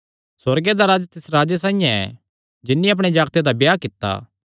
सुअर्गे दा राज्ज तिस राजे साइआं ऐ जिन्नी अपणे जागते दा ब्याह कित्ता